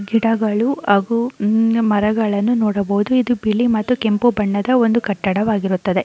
ಗಿಡಗಳು ಹಾಗು ಹೂ ಮರಗಳನ್ನು ನೋಡಬಹುದು ಇದು ಬಿಳಿ ಮತ್ತು ಕೆಂಪು ಬಣ್ಣದ ಒಂದು ಕಟ್ಟಡವಾಗಿರುತ್ತದೆ.